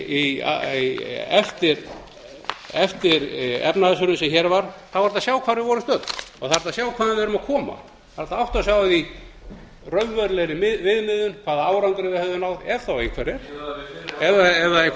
var er hægt að sjá hvar við vorum stödd og þá er hægt að sjá hvaðan við værum að koma það er hægt að átta sig á raunverulegri viðmiðun hvaða árangri það hefði náð ef þá einhverjar ef það er